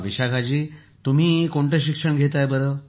विशाखा जी तुम्ही कोणते शिक्षण घेता आहात